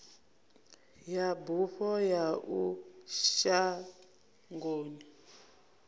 ya bufho ya uya shangoni